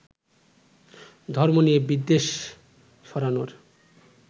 ধর্ম নিয়ে বিদ্বেষ ছড়ানোর